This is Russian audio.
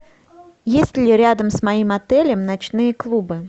есть ли рядом с моим отелем ночные клубы